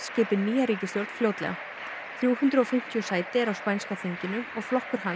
skipi nýja ríkisstjórn fljótlega þrjú hundruð og fimmtíu sæti eru á spænska þinginu og flokkur hans